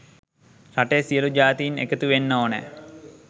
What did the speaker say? රටේ සියළු ජාතීන් එකතු වෙන්න ඕනැ.